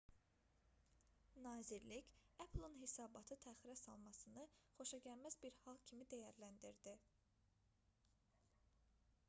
nazirlik apple-in hesabatı təxirə salmasını xoşagəlməz bir hal kimi dəyərləndirdi